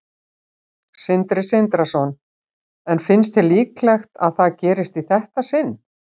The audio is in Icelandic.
Sindri Sindrason: En finnst þér líklegt að það gerist í þetta sinn?